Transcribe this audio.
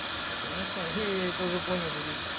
да конечно я это уже понял что тут